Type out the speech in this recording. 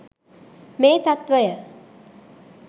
මේ තත්ත්වය